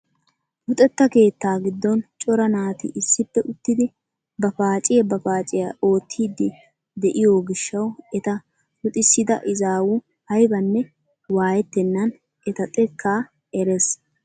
Luxetta keettaa giddon cora naati issippe uttidi ba paaciyaa ba paaciyaa oottidi de'iyoo gishshawu eta luxisida izaawu aybanne waayettenan eta xekkaa erees!